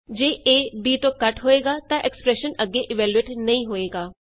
ਜੇ a b ਤੋਂ ਘਟ ਹੋਏਗਾ ਤਾਂ ਐਕਸਪਰੈਸ਼ਨ ਅੱਗੇ ਇਵੈਲਯੂਏਟ ਨਹੀਂ ਹੋਏਗਾ